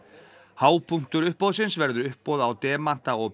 hápunktur uppboðsins verður uppboð á demanta og